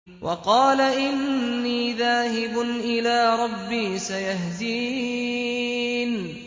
وَقَالَ إِنِّي ذَاهِبٌ إِلَىٰ رَبِّي سَيَهْدِينِ